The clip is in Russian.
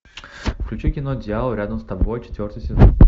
включи кино дьявол рядом с тобой четвертый сезон